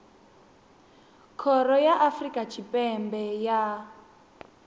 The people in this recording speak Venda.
khoro ya afrika tshipembe ya